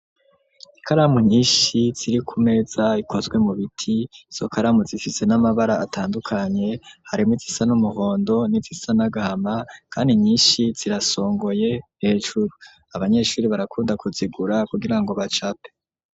Ikaramu nyishi ziri ku meza zikozwe mu biti izo karamu zifise n'amabara atandukanye harimwo izisa n'umuhondo n'izisa n'agahama kandi nyinhi zirasongoye hejuru, abanyeshuri barakunda ku zigura kugira ngo bacape.